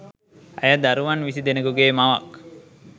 ඇය දරුවන් විසි දෙනෙකුගේ මවක්